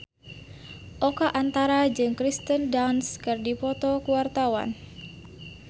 Oka Antara jeung Kirsten Dunst keur dipoto ku wartawan